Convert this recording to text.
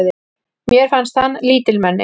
Mér fannst hann lítilmenni.